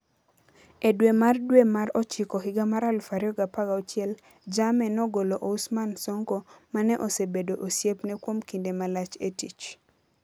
E dwe mar dwe mar ochiko higa mar 2016, Jammeh nogolo Ousman Sonko ma ne osebedo osiepne kuom kinde malach e tich.